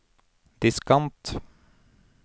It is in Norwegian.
diskant